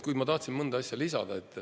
Kuid ma tahtsin mõne asja lisada.